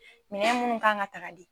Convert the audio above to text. Minɛw munnu k'an ka ta ka di.